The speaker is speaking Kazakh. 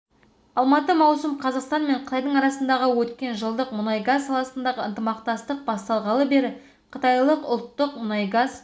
алматы маусым қазақстан мен қытайдың арасындағы өткен жылдық мұнайгаз саласындағы ынтымақтастық басталғалы бері қытайлық ұлттық мұнайгаз